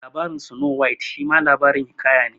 Labarin Snow White shima labarin hiƙaya ne